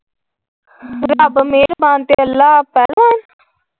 ਰੱਬ ਮਿਹਰ ਬਾਨ ਤੇ ਅੱਲਾ ਪਹਿਲਵਾਨ ।